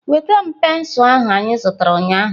Nweta m pensụl ahụ anyị zụtara ụnyaahụ!